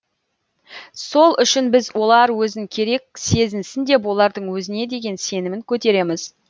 сол үшін біз олар өзін керек сезінсін деп олардың өзіне деген сенімін көтереміз